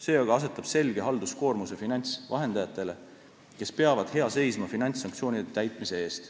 See aga asetab selge halduskoormuse finantsvahendajatele, kes peavad hea seisma finantssanktsioonide täitmise eest.